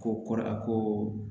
Ko kɔrɔ a ko